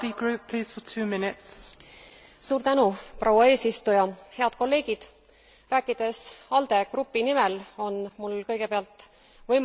Proua eesistuja, head kolleegid! Rääkides ALDE fraktsiooni nimel, on mul kõigepealt võimalus avaldada tunnustust raporti koostajatele.